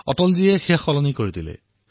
অটলজীয়ে ইয়াক পৰিৱৰ্তন কৰিলে